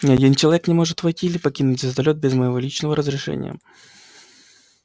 ни один человек не может войти или покинуть звездолёт без моего личного разрешения